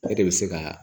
E de bɛ se ka